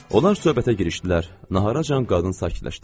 Onlar söhbətə girişdilər, naharacan qadın sakitləşdi.